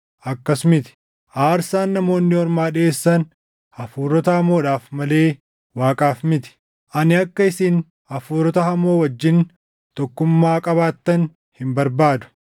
Akkas miti; aarsaan namoonni ormaa dhiʼeessan hafuurota hamoodhaaf malee Waaqaaf miti; ani akka isin hafuurota hamoo wajjin tokkummaa qabaattan hin barbaadu.